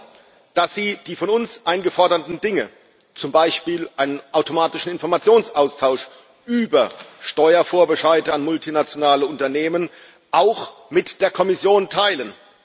Wir wollen, dass sie die von uns eingeforderten Dinge, zum Beispiel einen automatischen Informationsaustausch über Steuervorbescheide an multinationale Unternehmen, auch mit der Kommission teilen.